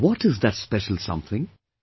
What is that 'Special Something'